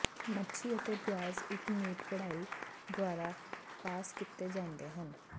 ਮੱਛੀ ਅਤੇ ਪਿਆਜ਼ ਇਕ ਮੀਟ ਪਿੜਾਈ ਦੁਆਰਾ ਪਾਸ ਕੀਤੇ ਜਾਂਦੇ ਹਨ